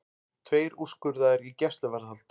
Tveir úrskurðaðir í gæsluvarðhald